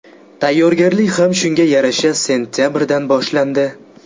Tayyorgarlik ham shunga yarasha sentabrdan boshlandi.